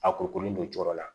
A kurukurulen don jukɔrɔ la